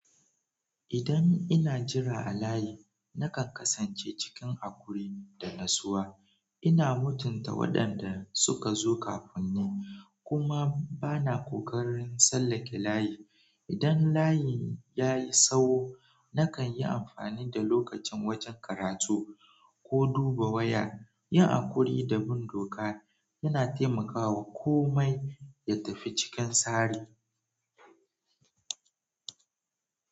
Idan ina jira a layi, nakan kasance cikin haƙuri da natsuwa. Ina mutunta waɗanda suka zo kafin ni kuma bana ƙoƙarin tsallake layi. Idan layi ya yi tsawo, nakan yi amfani da lokacin wajen karatu ko duba waya. Yin haƙuri da bin doka yana taimakawa komai ya tafi cikin tsari.